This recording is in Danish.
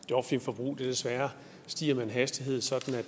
det offentlige forbrug desværre stiger med en hastighed sådan at